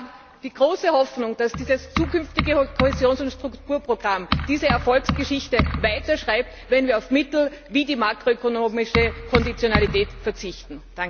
Ich habe die große Hoffnung, dass dieses zukünftige Kohäsions und Strukturprogramm diese Erfolgsgeschichte weiterschreibt, wenn wir auf Mittel wie die makro ökonomische Konditionalität verzichten.